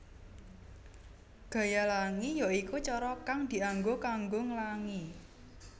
Gaya Langi ya iku cara kang dianggo kanggo nglangi